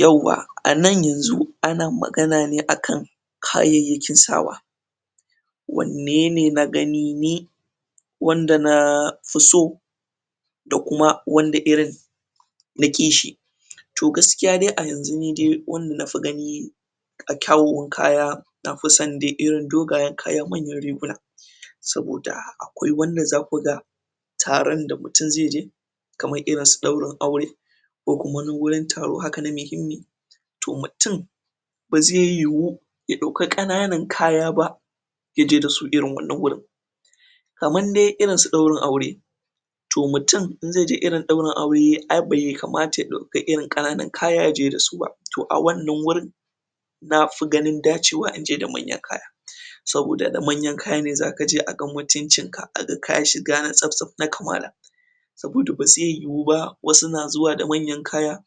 yawwa a nan yanzu ana magana ne akan kayyakin sawa wanne ne na gani ni wanda na fi so da kuma wanda irin naƙi shi to gaskiya dai a yanzun nida wanda na fi gani a kawomin kaya na fi son de irin dogayen kaya manyan riguna saboda akwai wanda zaku ga taron da mutum zai je kamar irin su ɗaurin aure ko kuma wani wurin taro haka na muhimmi to mutum ba zai yiwu ya ɗauka ƙanana kaya ba ya je da su irin wannan wurin kamar dai irinsu ɗaurin aure to mutum in zai je irin ɗaurin aure ai bai kamata ya ɗauka irin ƙananun kaya ya je da su ba to a wannan wurin na fi ganin dacewa inje da manyan kaya saboda da manyan kaya ne zaka je a ga mutuncinka a ga kayi shiga na tsaf-tsaf na kamala saboda ba zai yi wu ba wasu na zuwa da manyan kaya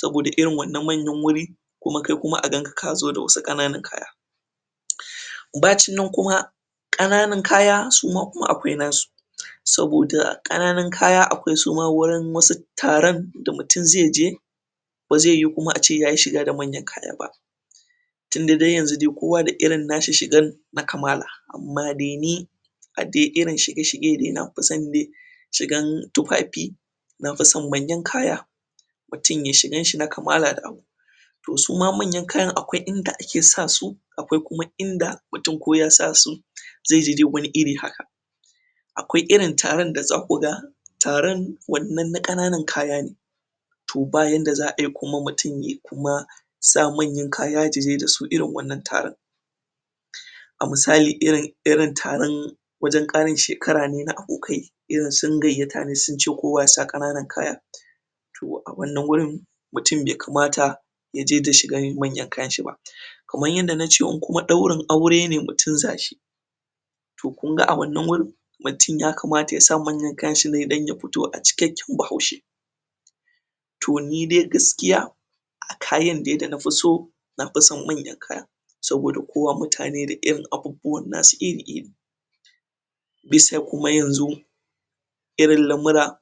saboda irin wannan manyan wuri kuma kai kuma a ganka ka zo da wasu ƙananan kaya uhmm bacin nan kuma ƙananun kaya suma kuma akwai nasu saboda ƙananun kaya akwai suma wasu taron da mutum zai je ba zai yiwu kuma ace ya yi shiga da manyan kaya ba tinda dai yanzu dai kowa da irin na shi shigan na kamala amma dai ni a dai irin shige-shige na fi son shigan tufafi na fi son manyan kaya mutum yai shigan shi na kamala da abu to suma manyan kayan akwai inda ake sa su akwai kuma inda koya sa su zai ji dai wani iri haka akwai irin taron da zaku ga taron wannan na ƙananan kaya ne to ba yadda za ai kuma mutum yai kuma sa manyan kaya ya je da su irin wannan taron a misali iri irin taron wajen ƙarin shekara ne na abokai irin sun gayyata ne sun ce kowa ya sa ƙananan kaya to a wannan wurin mutum bai kamata ya je da shigar manyan kayanshi ba kamar yadda na ce in kuma ɗaurin aure ne mutum za shi to kun ga a wannan wurin mutum ya kamata ya sa manyan kayanshi ne don ya fito a cikakken Bahaushe to ni dai gaskiya a kayan dai da nafi so na fi son manyan kaya saboda kowa mutane da irin abubuwa nasu iri-iri dis sai kuma yanzu irin lamura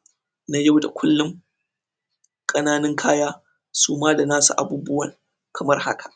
na yau da kullum ƙananun kaya su ma da nasu abubuwan kamar haka